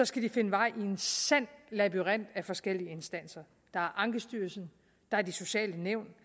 skal de finde vej i en sand labyrint af forskellige instanser der er ankestyrelsen der er de sociale nævn